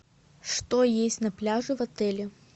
что есть на пляже в отеле